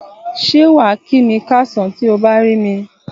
Ṣé wàá kí mi káàsán tí o bá rí mi?